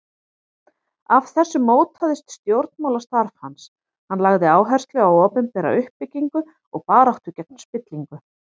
Af þessu mótaðist stjórnmálastarf hans, hann lagði áherslu á opinbera uppbyggingu og baráttu gegn spillingu.